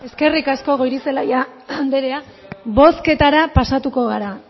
eskerrik asko goirizelaia anderea bozketara pasatuko gara